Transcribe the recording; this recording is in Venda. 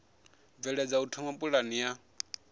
bveledza u thoma pulane ya